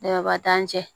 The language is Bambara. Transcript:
Daba t'an cɛ